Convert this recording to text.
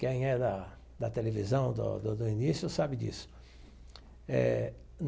Quem é da da televisão, do do do início, sabe disso eh.